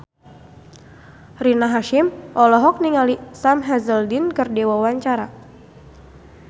Rina Hasyim olohok ningali Sam Hazeldine keur diwawancara